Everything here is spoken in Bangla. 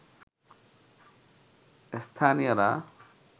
স্থানীয়রা